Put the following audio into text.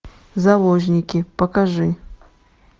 заложники покажи